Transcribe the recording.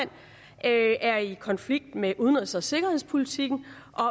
er i konflikt med udenrigs og sikkerhedspolitikken og